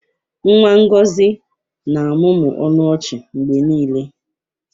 Nwa Ngọzi na-amụmụ ọnụ ọchị mgbe niile